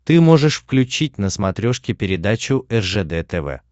ты можешь включить на смотрешке передачу ржд тв